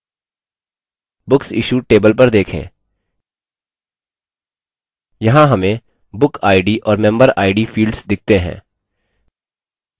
books issued table पर देखें यहाँ हमें book id और member id fields दिखते हैं